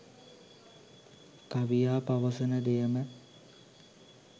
කවියා පවසන දෙයම